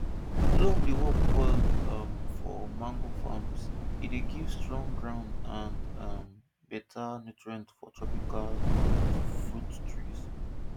loam dey work well um for mango farms e dey give strong ground and um better nutrient for tropical um fruit trees